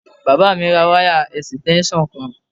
Bàbá mi ra wáyà ẹ̀sìtẹ́ńsàn kan